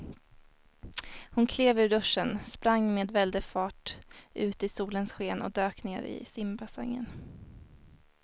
Hon klev ur duschen, sprang med väldig fart ut i solens sken och dök ner i simbassängen.